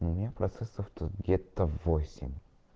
у меня процессор тут где-то восемь